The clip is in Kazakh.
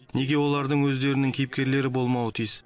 неге олардың өздерінің кейіпкерлері болмауы тиіс